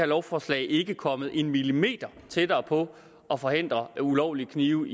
lovforslag ikke er kommet en millimeter tættere på at forhindre ulovlige knive